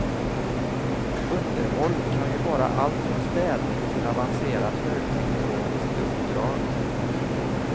Underhåll kan ju vara allt från städning till avancerat högteknologiskt uppdrag.